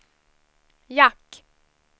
jack